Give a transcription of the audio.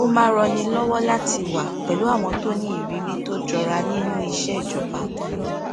ó máa n ranni lọwọ láti wà pẹlú àwọn tó ní ìrírí tó jọra nínú iṣẹ ìjọba